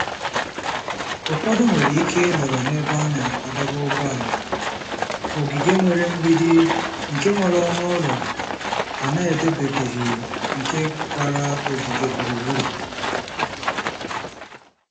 Ụfọdụ nwere ike ịnọrọ n'ebe a na-adọba ụgbọala, ogige nwere mgbidi nke nwere ọnụ ụlọ a na-edobebeghị nke gbara ogige gburugburu.